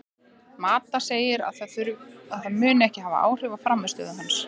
Mata segir að það muni ekki hafa áhrif á frammistöðu hans.